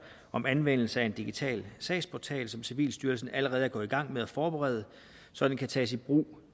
om anvendelse af en digital sagsportal som civilstyrelsen allerede er gået i gang med at forberede så den kan tages i brug